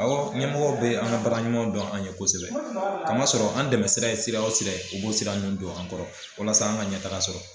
A wɔ ɲɛ mɔgɔw bɛ an ka baara ɲumanw dɔn an ye kosɛbɛ ka ma sɔrɔ an dɛmɛsira ye siraw sira ye u b'o siran ninnu don an kɔrɔ walasa an ka ɲɛtaga sɔrɔ